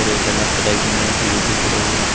एक black colour की मेज भी दिख रही है।